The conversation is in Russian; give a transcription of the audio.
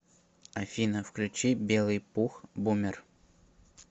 афина включи белый пух бумер